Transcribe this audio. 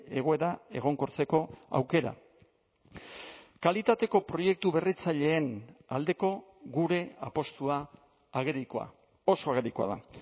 egoera egonkortzeko aukera kalitateko proiektu berritzaileen aldeko gure apustua agerikoa oso agerikoa da